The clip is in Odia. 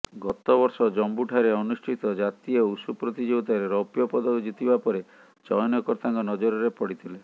ଗତବର୍ଷ ଜମ୍ମୁଠାରେ ଅନୁଷ୍ଠିତ ଜାତୀୟ ଉଷୁ ପ୍ରତିଯୋଗିତାରେ ରୌପ୍ୟ ପଦକ ଜିତିବା ପରେ ଚୟନକର୍ତାଙ୍କ ନଜରରେ ପଡ଼ିଥିଲେ